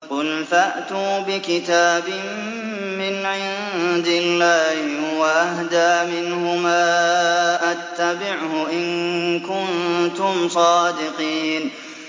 قُلْ فَأْتُوا بِكِتَابٍ مِّنْ عِندِ اللَّهِ هُوَ أَهْدَىٰ مِنْهُمَا أَتَّبِعْهُ إِن كُنتُمْ صَادِقِينَ